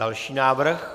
Další návrh.